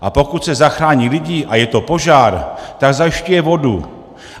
A pokud se zachrání lidi a je to požár, tak zajišťuje vodu.